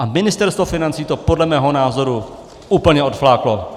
A Ministerstvo financí to podle mého názoru úplně odfláklo!